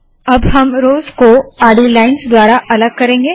अब हम रोव्स को आडी लाइन्स द्वारा अलग करेंगे